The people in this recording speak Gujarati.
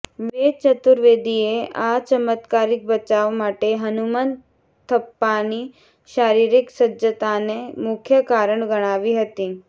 વેદ ચતુર્વેદીએ આ ચમત્કારિક બચાવ માટે હનુમંતથપ્પાની શારીરિક સજ્જતાને મુખ્ય કારણ ગણાવી હતી